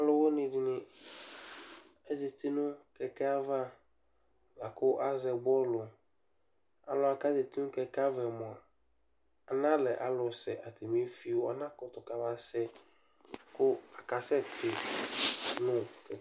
Alʋwɩnɩ dɩnɩ azati nʋ kɛkɛ ava la kʋ azɛ bɔlʋ Alʋ wanɩ kʋ azati nʋ kɛkɛ yɛ ava yɛ mʋa, analɛ alʋsɛ, atanɩ efio anakʋtʋ kamasɛ kʋ akesɛku nʋ kɛkɛ